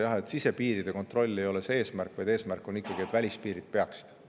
Jah, sisepiiride kontroll ei ole see eesmärk, vaid eesmärk on ikkagi, et välispiirid peaksid.